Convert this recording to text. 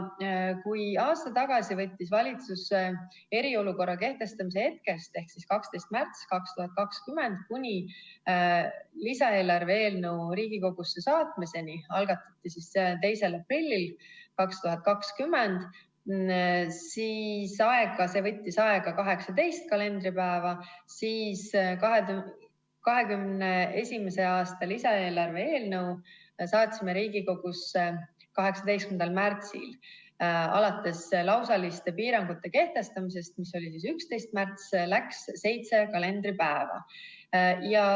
Kui aasta tagasi võttis valitsus eriolukorra kehtestamise hetkest ehk siis 12. märtsist 2020 kuni lisaeelarve eelnõu Riigikogusse saatmiseni – see algatati 2. aprillil 2020 – aega 18 kalendripäeva –, siis 2021. aasta lisaeelarve eelnõu saatsime Riigikogusse 18. märtsil, alates lausaliste piirangute kehtestamisest, mis oli 11. märtsil, ja läks aega seitse kalendripäeva.